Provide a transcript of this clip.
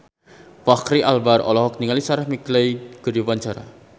Fachri Albar olohok ningali Sarah McLeod keur diwawancara